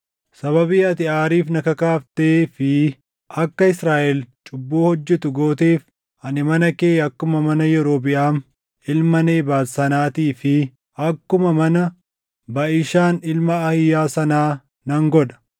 Sababii ati aariif na kakaaftee fi akka Israaʼel cubbuu hojjetu gooteef ani mana kee akkuma mana Yerobiʼaam ilma Nebaat sanaatii fi akkuma mana Baʼishaan ilma Ahiiyaa sanaa nan godha.’